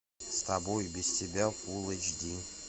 с тобой и без тебя фулл эйч ди